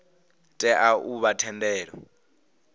tea u vha na thendelo